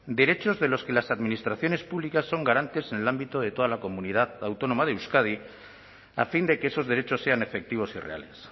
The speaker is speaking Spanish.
derechos de los que las administraciones públicas son garantes en el ámbito de toda la comunidad autónoma de euskadi a fin de que esos derechos sean efectivos y reales